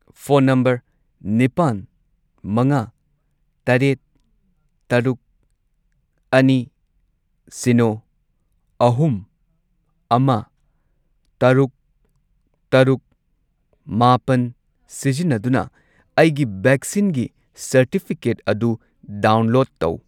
Phone number ꯅꯤꯄꯥꯟ, ꯃꯉꯥ, ꯇꯔꯦꯠ, ꯇꯔꯨꯛ, ꯑꯅꯤ, ꯁꯤꯅꯣ, ꯑꯍꯨꯝ, ꯑꯃ, ꯇꯔꯨꯛ, ꯇꯔꯨꯛ, ꯃꯥꯄꯟ ꯁꯤꯖꯤꯟꯅꯗꯨꯅ ꯑꯩꯒꯤ ꯚꯦꯛꯁꯤꯟꯒꯤ ꯁꯔꯇꯤꯐꯤꯀꯦꯠ ꯑꯗꯨ ꯗꯥꯎꯟꯂꯣꯗ ꯇꯧ꯫